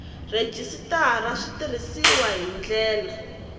rhejisitara swi tirhisiwile hi ndlela